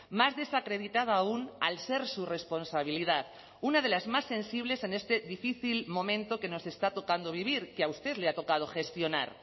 más desacreditada aún al ser su responsabilidad una de las más sensibles en este difícil momento que nos está tocando vivir que a usted le ha tocado gestionar